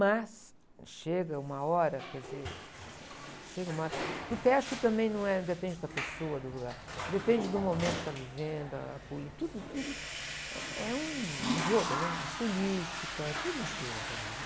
mas chega uma hora, quer dizer, chega uma hora, porque acho que também não é, não depende da pessoa, do lugar, depende do momento que você está vivendo, a polí, tudo tudo eh, é um, um jogo, né? A política, tudo influi na sua vida.